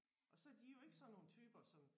Og så er de jo ikke sådan nogle typer som